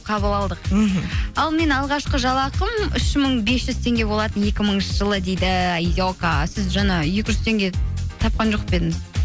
қабыл алдық мхм ал менің алғашқы жалақым үш мың бес жүз теңге болатын екі мыңыншы жылы дейді аека сіз жаңа екі жүз теңге тапқан жоқ па едіңіз